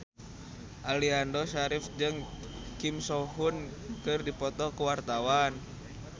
Aliando Syarif jeung Kim So Hyun keur dipoto ku wartawan